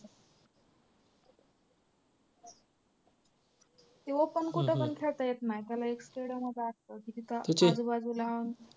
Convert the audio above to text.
ते open कुठंपण खेळता येत नाही त्याला एक stadium च असतो की तिथं आजूबाजूला.